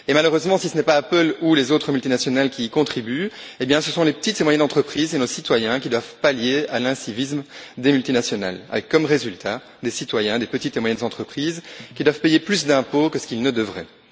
Et malheureusement si ce n'est pas Apple ou les autres multinationales qui y contribuent, eh bien ce sont les petites et moyennes entreprises et nos citoyens qui doivent pallier l'incivisme des multinationales, avec comme résultat des citoyens et des petites et moyennes entreprises qui doivent payer plus d'impôts que ce qu'ils ne devraient.